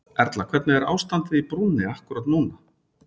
Erla hvernig er ástandið á brúnni akkúrat núna?